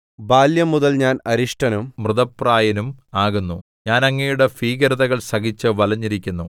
ബാല്യംമുതൽ ഞാൻ അരിഷ്ടനും മൃതപ്രായനും ആകുന്നു ഞാൻ അങ്ങയുടെ ഭീകരതകൾ സഹിച്ച് വലഞ്ഞിരിക്കുന്നു